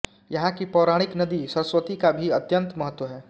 यहां की पौराणिक नदी सरस्वती का भी अत्यन्त महत्व है